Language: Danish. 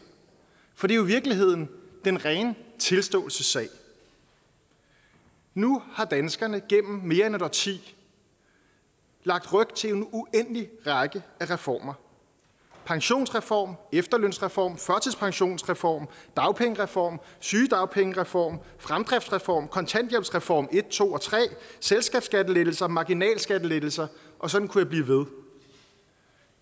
for det er jo i virkeligheden den rene tilståelsessag nu har danskerne gennem mere end et årti lagt ryg til en uendelig række af reformer pensionsreform efterlønsreform førtidspensionsreform dagpengereform sygedagpengereform fremdriftsreform kontanthjælpsreform en to og tre selskabsskattelettelser marginalskattelettelser og sådan kunne jeg blive ved